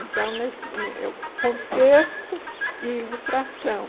Então nesse ne eu é o contexto e ilustração.